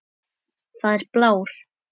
Það er blár.